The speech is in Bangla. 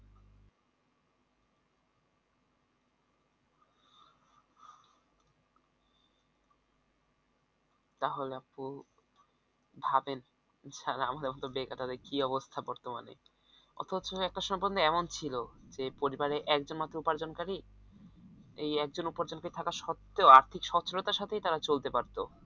তাহলে আপু ভাবেন যারা আমাদের মত বেকার তাদের কি অবস্থা বর্তমানে, অথচ একটা সম্পূর্ণ এমন ছিল যে পরিবারে একজন মাত্র উপার্জনকারি, এই একজন উপার্জনকারি থাকার সত্তেও আর্থিক সচ্ছলতার সাথেই তারা চলতে পারত